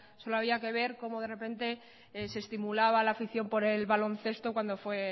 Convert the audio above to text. solo había que ver cómo de repente se estimulaba la afición por el baloncesto cuando fue